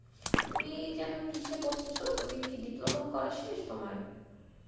তুমি যেন কিসে পরতেস তুমি কি diploma করা শেষ তোমার?